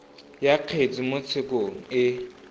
ya kgetse mo tshekong e